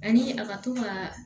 Ani a ka to ka